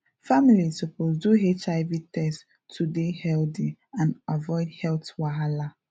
families suppose do hiv test to dey healthy and avoid health wahala